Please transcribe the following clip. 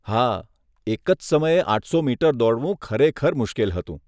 હા, એક જ સમયે આઠસો મીટર દોડવું ખરેખર મુશ્કેલ હતું.